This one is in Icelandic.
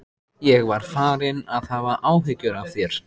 Ég var farinn að hafa áhyggjur af þér.